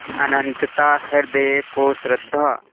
अनंतता हृदय को श्रद्धा